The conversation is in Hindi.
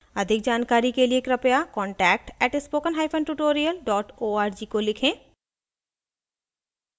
अधिक जानकारी के कृपया contact @spokentutorial org को लिखें